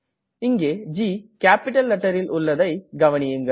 இங்கே G capital letterல் உள்ளதை கவனியுங்கள்